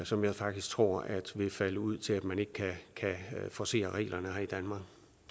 som jeg faktisk tror vil falde ud til at man ikke kan forcere reglerne her i danmark